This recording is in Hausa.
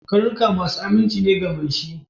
Karnuka masu aminci ne ga mai shi